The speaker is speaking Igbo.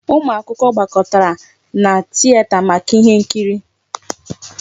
Ụmụ akwụkwọ gbakọtara na tieta maka ihe nkiri.